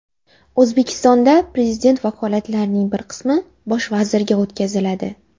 O‘zbekistonda Prezident vakolatlarining bir qismi Bosh vazirga o‘tkaziladi.